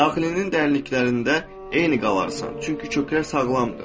Daxilinin dərinliklərində eyni qalarsan, çünki kökə sağlamdır.